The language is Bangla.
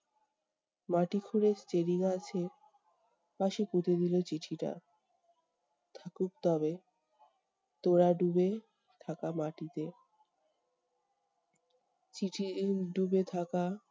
মাটি খুঁড়ে চেরি গাছের পাশে পুঁতে দিলো চিঠিটা। থাকুক তবে তোড়া ডুবে থাকা মাটিতে। চিঠি উম ডুবে থাকা-